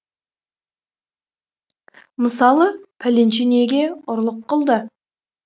мысалы пәленше неге ұрлық қылды